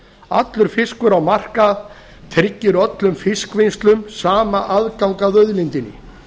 allur fiskur á markað tryggir öllum fiskvinnslum sama aðgang að auðlindinni